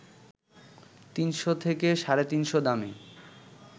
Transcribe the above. ৩০০ থেকে ৩৫০ দামে